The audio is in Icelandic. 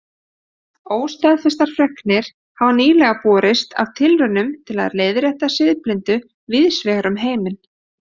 Óstaðfestar fregnir hafa nýlega borist af tilraunum til að leiðrétta siðblindu víðs vegar um heiminn.